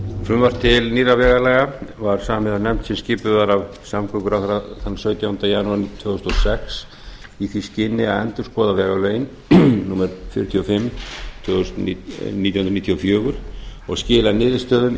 frumvarp til nýrra vegalaga var samið af nefnd sem skipuð er af samgönguráðherra þann sautjánda janúar tvö þúsund og sex í því skyni að endurskoða vegalögin númer fjörutíu og fimm nítján hundruð níutíu og fjögur og skila niðurstöðum í